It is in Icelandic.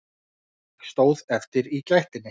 Ég stóð eftir í gættinni.